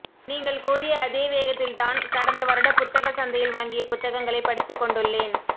நீங்கள் கூறிய அதே வேகத்தில் தான் கடந்த வருட புத்தக சந்தையில் வாங்கிய புத்தகங்களை படித்துக் கொண்டுள்ளேன்